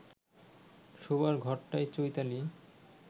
শোবার ঘরটায় চৈতালি